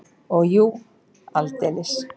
Og jú, aldeilis!